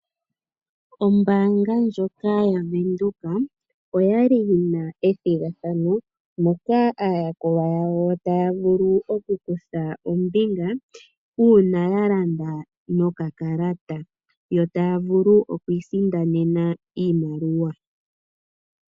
Ombaanga ndjoka yaWindhoek oya li yi na ethigathano, moka aayakulwa yawo taya vulu oku kutha ombinga uuna ya landa nokakalata. Yo taya vulu okwiisindanena iimaliwa.